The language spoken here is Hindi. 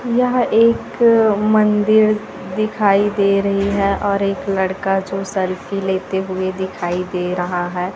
यह एक मंदिर दिखाई दे रही है और एक लड़का जो सेल्फी लेते हुए दिखाई दे रहा है।